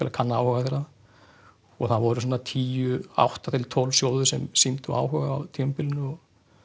að kanna áhuga það voru svona átta til tólf sjóðir sem sýndu áhuga á tímabilinu